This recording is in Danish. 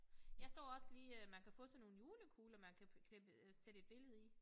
Jeg så også lige øh man kan få sådan nogle julekugler man kan klippe øh sætte et billede i